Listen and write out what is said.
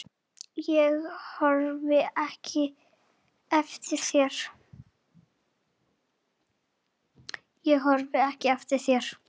Ég horfi ekki eftir þér.